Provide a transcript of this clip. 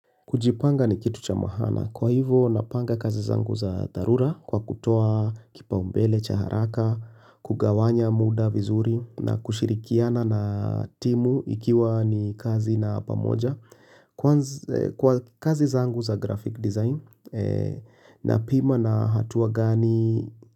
Kujipanga ni kitu cha mahana kwa hivo napanga kazi zangu za dharura kwa kutoa kipa umbele, chaharaka, kugawanya muda vizuri na kushirikiana na timu ikiwa ni kazi na pamoja kwa kazi zangu za graphic design na pima na hatuwa gani.